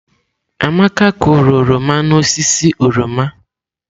Amaka kụrụ oroma n'osisi oroma.